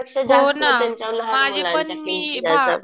आपल्यापेक्षा जास्त लहान मुलांच्या किमती